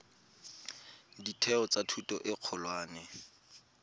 ditheo tsa thuto e kgolwane